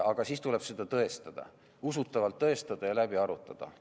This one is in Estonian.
Aga siis tuleb seda tõestada, usutavalt tõestada ja läbi arutada.